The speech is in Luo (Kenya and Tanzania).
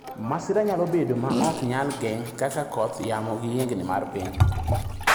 Masira nyalo bedo ma ok nyal geng' kaka kodh yamo, gi yiengni mar piny.